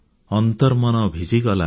ଅନ୍ତର୍ମନ ଭିଜିଗଲା